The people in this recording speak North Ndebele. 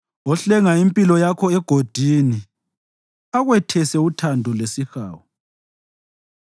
ohlenga impilo yakho egodini akwethese uthando lesihawu,